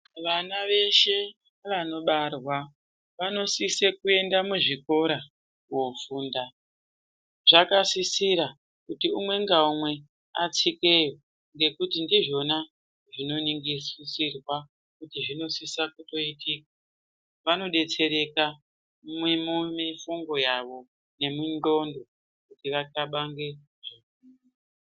Vana veshe vanobarwa, vanosisa kuenda muzvikora kofunda, zvakasisira kuti umwe ngaumwe atsikeyo ngekuti ndizvona zvinoningisirwa kuti zvinosisa kutoyitika, vanodetsereka mumifungo yavo nemindxondo kuti vanxabange.